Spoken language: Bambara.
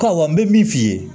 Awɔ n bɛ min f'i ye